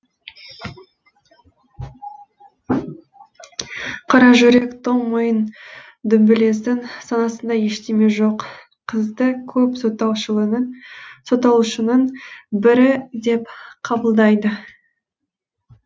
қаражүрек тоңмойын дүмбілездің санасында ештеме жоқ қызды көп сотталушының бірі деп қабылдайды